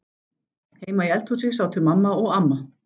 Heima í eldhúsi sátu mamma og amma.